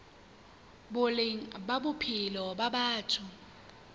boleng ba bophelo ba batho